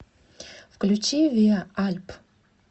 включи виа альп